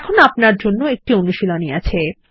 এখানে আপনার জন্য একটি অনুশীলনী আছে